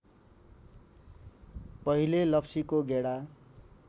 पहिले लप्सीको गेडा